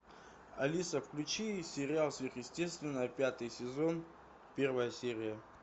алиса включи сериал сверхъестественное пятый сезон первая серия